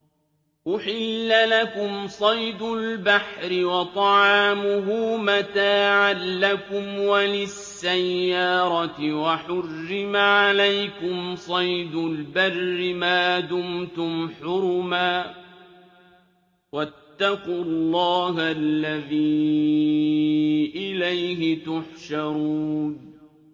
أُحِلَّ لَكُمْ صَيْدُ الْبَحْرِ وَطَعَامُهُ مَتَاعًا لَّكُمْ وَلِلسَّيَّارَةِ ۖ وَحُرِّمَ عَلَيْكُمْ صَيْدُ الْبَرِّ مَا دُمْتُمْ حُرُمًا ۗ وَاتَّقُوا اللَّهَ الَّذِي إِلَيْهِ تُحْشَرُونَ